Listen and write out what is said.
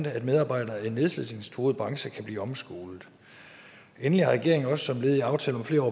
at medarbejdere i nedslidningstruede brancher kan blive omskolet endelig har regeringen også som led i aftale om flere